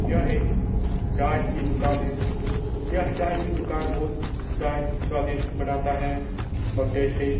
यह एक चाय की दुकान है यह चाय की दुकान बहोत चाय स्वादिष्ट बनाता है और टेस्टी .